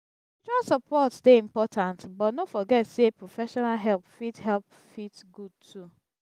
spiritual support dey important but no forget sey professional help fit help fit good too.